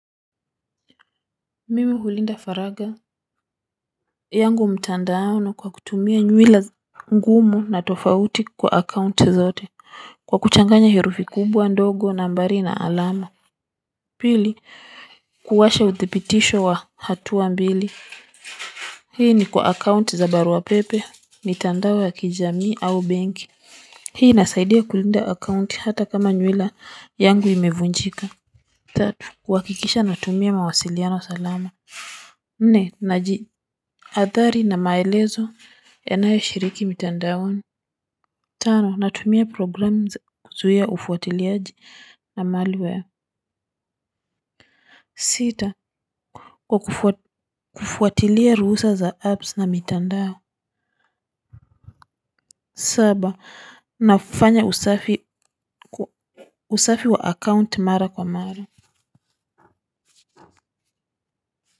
Mimi hulinda faragha yangu mtandaoni kwa kutumia nywila ngumu na tofauti kwa account zote kwa kuchanganya herufi kubwa ndogo nambari na alama pili kuwasha uthibitisho wa hatua mbili hii ni kwa account za barua pepe mitandao ya kijamii au benki hii inasaidia kulinda account hata kama nywila yangu imevunjika tatu uhakikisha natumia mawasiliano salama nne najihadhari na maelezo yanayo shiriki mitandaoni. Tano natumia programu za kuzuia ufuatiliaji na malware. Sita kwa kufuatilia ruhusa za apps na mitandao. Saba nafanya usafi wa account mara kwa mara.